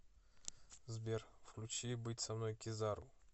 сбер включи быть со мной кизару